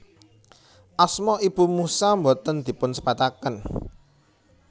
Asma ibu Musa boten dipunsebataken